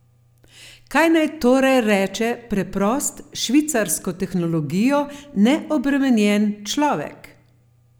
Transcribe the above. Kaj naj torej reče preprost, s švicarsko tehnologijo neobremenjen človek?